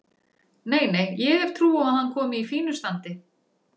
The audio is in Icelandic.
Nei, nei, ég hef trú á að hann komi í fínu standi.